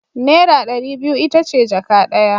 Naira dari biyu itace jaka daya